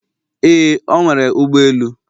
Ee, o nwere ụgbọ elu